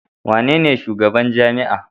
Wanene shugaban jami'a?